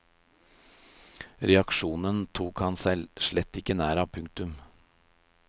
Reaksjonen tok han seg slett ikke nær av. punktum